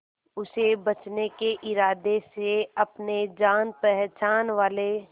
उसे बचने के इरादे से अपने जान पहचान वाले